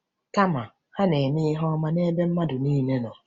Kama, ha “na-eme ihe ọma n’ebe mmadụ niile nọ.